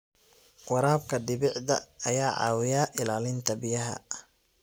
Waraabka dhibicda ayaa caawiya ilaalinta biyaha.